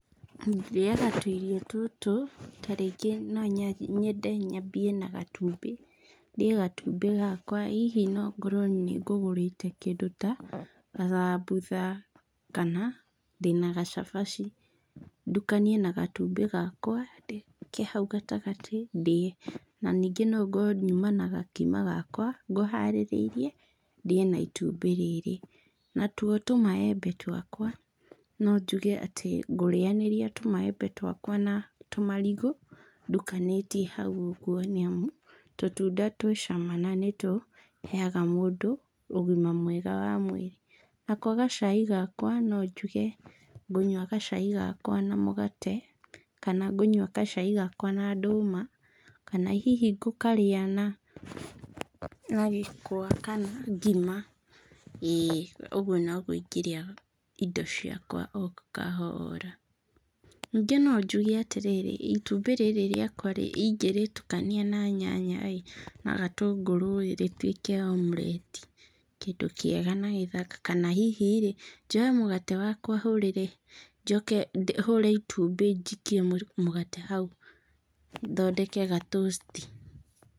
Ndĩaga tũirio tũtũ, ta rĩngĩ no nyende nyambie na gatumbĩ. Ndĩe gatumbĩ gakwa. Hihi no ngorwo nĩ ngũgũrĩte kĩndũ ta gathambutha kana ndĩna gacabaci, ndukanie na gatumbĩ gakwa ke hau gatagatĩ ndĩe. Na ningĩ no ngorwo nyuma na gakima gakwa ngũharĩrĩirie, ndĩe na itumbĩ rĩrĩ. Natuo tũmaembe twakwa, no njuge atĩ ngũrĩanĩrĩa tũmaembe twakwa na tũmarigũ, ndukanĩtie hau ũguo nĩamu, tũtunda twĩ cama na nĩ tũheaga mũndũ ũgima mwega wa mwĩrĩ. Nako gacai gakwa, no njuge ngũnyua gacai gakwa na mũgate, kana ngũnyua gacai gakwa na ndũma, kana hihi ngũkarĩa na na gĩkwa kana ngima, ĩĩ ũguo noguo ingĩrĩa indo ciakwa o kahoora. Ningĩ no njuge atĩrĩrĩ, itumbĩ rĩrĩ rĩakwa-rĩ ingĩrĩtukania na nyanya-ĩ, na gatũngũrũ-ĩ rĩtuĩke omelette , kĩndũ kĩega na gĩthaka, kana hihi-rĩ, njoe mũgate wakwa hũrĩre, njoke hũre itumbĩ njikie mũgate hau thondeke ga toast.